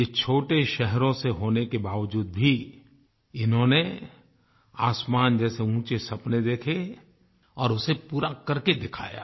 ये छोटे शहरों से होने के बावज़ूद भी इन्होंने आसमान जैसे ऊंचे सपने देखे और उसे पूरा करके दिखाया